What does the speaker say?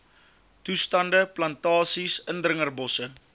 toestande plantasies indringerbosse